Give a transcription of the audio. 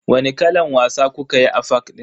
Wani kalan wasa kukayi a fak din?